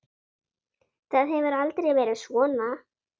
Það hefur aldrei verið svona.